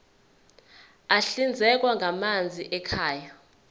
ahlinzekwa ngamanzi ekhaya